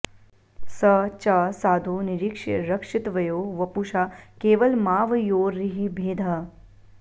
स च साधु निरीक्ष्य रक्षितव्यो वपुषा केवलमावयोर्हि भेदः